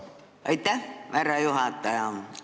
Aitäh, härra juhataja!